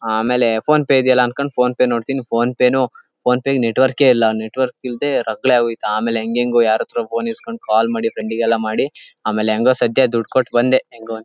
ಆಮೇಲೆ ಫೋನಪೆ ಇದಿಯಲ್ಲಾ ಅನ್ಕೊಂಡ್ ಫೋನಪೆ ನೋಡತ್ತೀನಿ ಫೋನಪೆನು ಫೋನಪೆಗೆ ನೆಟವರ್ಕ್ ಕ್ಕೆ ಇಲ್ಲಾ. ನೆಟವರ್ಕ್ ಇಲದ್ದೆರಗಲ್ಲೇ ಆಗೋಯಿತ್ತು. ಆಮೇಲೆ ಹೆಂಗ ಹೆಂಗೋ ಯಾರತ್ರೊ ಫೋನ್ ಇಸಕೊಂಡಿ ಕಾಲ್ ಮಾಡಿ ಫ್ರೆಂಡ್ ಗೆಲ್ಲಾ ಮಾಡಿ ಆಮೇಲೆ ಹೆಂಗೋ ಸದ್ಯ ದುಡ್ ಕೊಟ್ ಬಂದೆ ಹೆಂಗೋ ಒಂದ --.